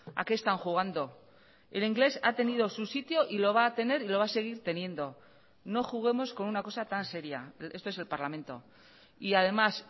a qué están jugando el inglés ha tenido su sitio y lo va a tener y lo va a seguir teniendo no juguemos con una cosa tan seria esto es el parlamento y además